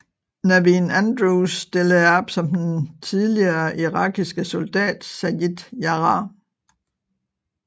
Naveen Andrews stillede op som den tidligere irakiske soldat Sayid Jarrah